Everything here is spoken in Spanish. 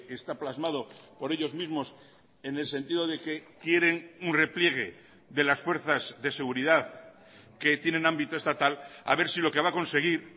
está plasmado por ellos mismos en el sentido de que quieren un repliegue de las fuerzas de seguridad que tienen ámbito estatal a ver si lo que va a conseguir